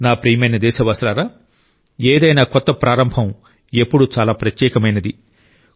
నా ప్రియమైన దేశవాసులారా ఏదైనా కొత్త ప్రారంభం ఎప్పుడూ చాలా ప్రత్యేకమైంది